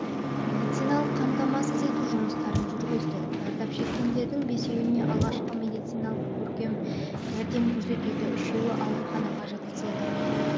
медициналық қамтамасыз ету жұмыстарын жүргізді зардап шеккендердің бесеуіне алғашқы медициналық жәрдем көрсетілді үшеуі ауруханаға жатқызылды